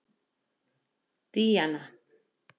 Díana